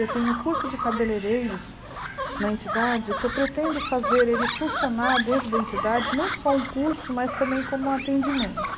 Eu tenho um curso de cabeleireiros na entidade que eu pretendo fazer ele funcionar dentro da entidade, não só um curso, mas também como um atendimento.